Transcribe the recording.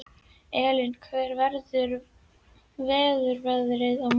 Elina, hvernig verður veðrið á morgun?